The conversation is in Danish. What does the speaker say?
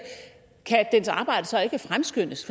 kan dens arbejde så ikke fremskyndes